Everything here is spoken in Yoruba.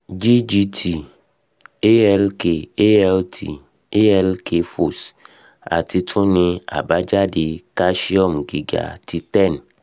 ggt- alk- alt alk phos- ati tun ni abajade calcium giga ti ten